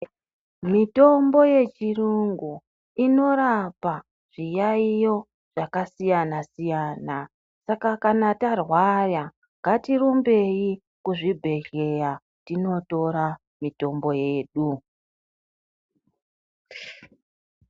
Mitombo yechiyungu inorapa zviyaiyo zvakasiyana siyana. Saka kana tarwara ngatirumbei kuzvibhehleya tinotora mitombo yedu.